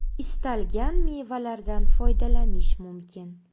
Istalgan mevalardan foydalanish mumkin.